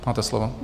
Máte slovo.